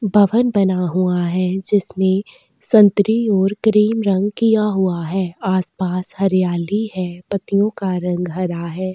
भवन बना हुआ है जिसमें संत्री और क्रीम रंग किया हुआ है आसपास हरियाली है पत्तियों का रंग हरा है।